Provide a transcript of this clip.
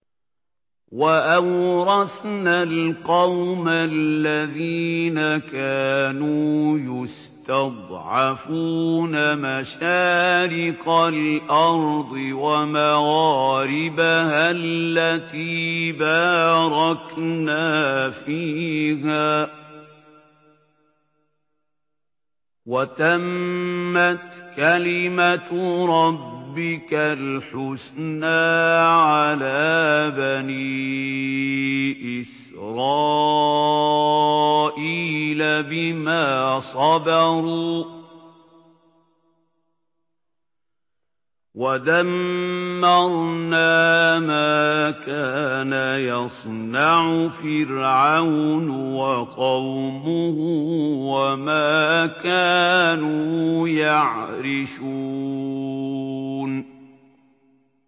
وَأَوْرَثْنَا الْقَوْمَ الَّذِينَ كَانُوا يُسْتَضْعَفُونَ مَشَارِقَ الْأَرْضِ وَمَغَارِبَهَا الَّتِي بَارَكْنَا فِيهَا ۖ وَتَمَّتْ كَلِمَتُ رَبِّكَ الْحُسْنَىٰ عَلَىٰ بَنِي إِسْرَائِيلَ بِمَا صَبَرُوا ۖ وَدَمَّرْنَا مَا كَانَ يَصْنَعُ فِرْعَوْنُ وَقَوْمُهُ وَمَا كَانُوا يَعْرِشُونَ